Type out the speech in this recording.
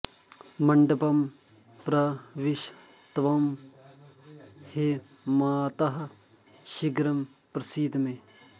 मण्डपं प्रविश त्वं हे मातः शीघ्रं प्रसीद मे